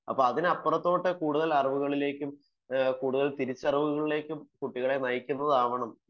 അപ്പം അതിനപ്പുറത്തേക്ക് കൂടുതൽ അറിവുകളിലേക്കും കൂടുതൽ തിരിച്ചറിവുകലിയ്ക്കും കുട്ടികളെ നയിക്കുന്നതാവണം